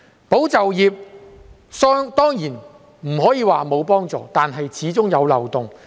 "保就業"計劃當然不可以說沒有幫助，但政策始終有漏洞。